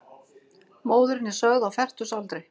Móðirin er sögð á fertugsaldri